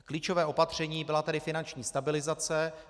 Klíčové opatření byla tedy finanční stabilizace.